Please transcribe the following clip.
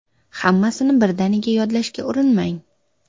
Hammasini birdaniga yodlashga urinmang.